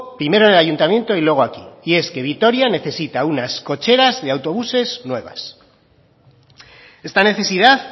primero en el ayuntamiento y luego aquí y es que vitoria necesita unas cocheras de autobuses nuevas esta necesidad